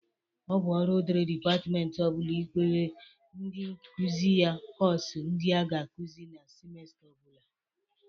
Ọ bụ ọrụ dịri dịpatmentị ọ bụla ị kere ndị nkuzi ya kọs ndị a ga-akụzị na simesta ọ bụla.